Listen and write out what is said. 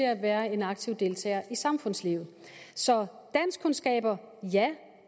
at være en aktiv deltager i samfundslivet så ja